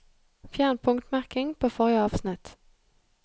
Fjern punktmerking på forrige avsnitt